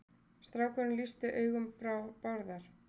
Strákurinn lýsti augum Bárðar.